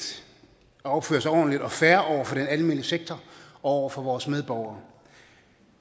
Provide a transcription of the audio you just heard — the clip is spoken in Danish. at opføre sig ordentligt og fair over for den almene sektor og over for vores medborgere